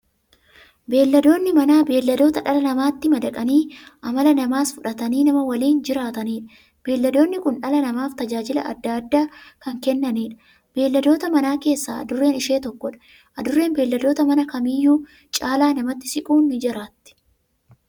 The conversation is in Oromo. Beeyladoonni Manaa beeyladoota dhala namaatti madaqanii amala namaas fudhatanii, nama waliin jiraataniidha. Beeyladoonni kun dhala namaaf tajaajila adda addaa kan kennaniidha. Beeyladoota Manaa keessaa Adurreen ishee tokkodha. Adurreen beeyladoota Manaa kamiyyuu caala namatti siquun jiraatti.